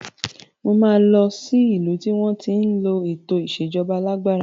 Mo máa lọ sí ìlú tí wọn ń lò ètò ìsèjọba alàgbàda